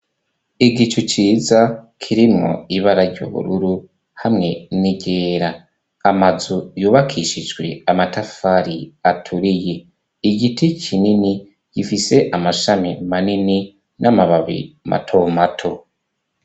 Igicu ciza kirimwo ibara ry'ubururu hamwe n'iryera, amazu yubakishijwe amatafari aturiye, igiti kinini gifise amashami manini n'amababi matomato.